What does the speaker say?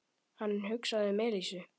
Hann hugsaði um Elísu.